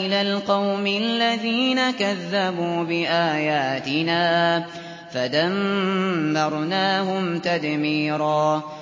إِلَى الْقَوْمِ الَّذِينَ كَذَّبُوا بِآيَاتِنَا فَدَمَّرْنَاهُمْ تَدْمِيرًا